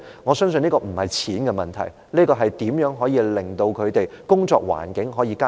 我相信這不是金錢的問題，而是如何加以改善他們的工作環境的問題。